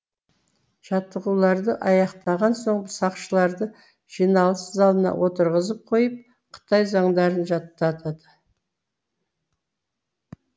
жаттығуларды аяқтаған соң сақшыларды жиналыс залына отырғызып қойып қытай заңдарын жататады